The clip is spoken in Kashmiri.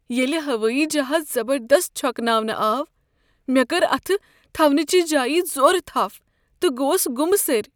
ییٚلہ ہوٲیی جہاز زبردست چھوكناونہٕ آو، مےٚ کٔر اتھٕ تھونٕچہِ جایہِ زورٕ تھپھ تہٕ گوس گمہٕ سٔرۍ۔